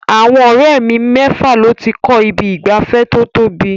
Àwọn ọ̀rẹ́ mi mẹ́fà ló ti kọ́ ibi ìgbafẹ́ tó tóbi.